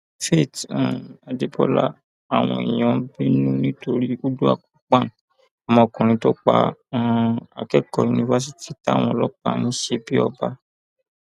faith um adébọlá àwọn èèyàn bínú nítorí uduak ukpan ọmọkùnrin tó pa um akẹkọọ yunifásitì táwọn ọlọpàá ń ṣe bíi ọba